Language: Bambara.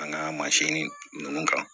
An ka mansinni ninnu kan